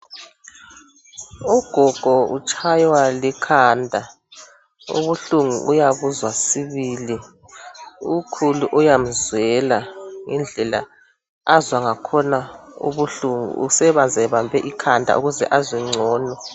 Ugogo utshaywa likhanda ubuhlungu uyabuzwa sibili, ukhulu uyamzwela indlela azwa ngakhona ubuhlungu usebazebambe ikhanda ukuze azwe ngcono.